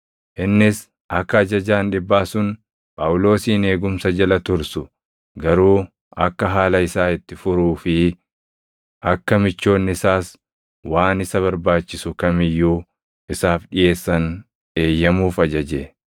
Innis akka ajajaan dhibbaa sun Phaawulosin eegumsa jala tursu, garuu akka haala isaa itti furuu fi akka michoonni isaas waan isa barbaachisu kam iyyuu isaaf dhiʼeessan eeyyamuuf ajaje.